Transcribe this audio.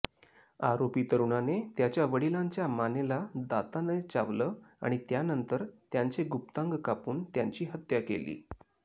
आरोपी तरुणाने त्याच्या वडिलांच्या मानेला दाताने चावलं आणि त्यानंतर त्यांचे गुप्तांग कापून त्यांची हत्या केली